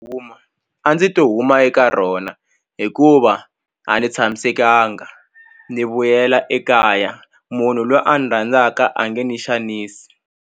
A ndzi to huma eka rona hikuva a ni tshamisekanga ni vuyela ekaya munhu lwa a ni rhandzaka a nge ni xanisi.